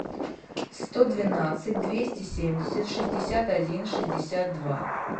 сто двенадцать двести семьдесят шестьдесят один шестьдесят два